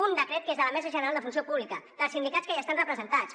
un decret que és de la mesa general de la funció pública dels sindicats que hi estan representats